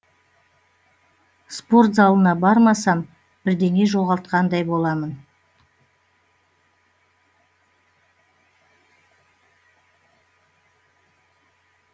спорт залына бармасам бірдеңе жоғалтқандай боламын